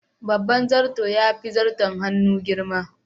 Babban zarto yafi zarton hannu girma.